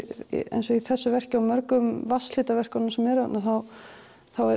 eins og í þessu verki og mörgum vatnslitaverkum sem eru hérna þá er